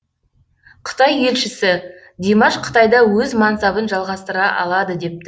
қытай елшісі димаш қытайда өз мансабын жалғастыра алады депті